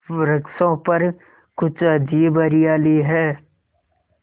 वृक्षों पर कुछ अजीब हरियाली है